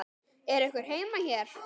Er einhver heima hér?